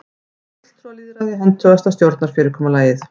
er fulltrúalýðræði hentugasta stjórnarfyrirkomulagið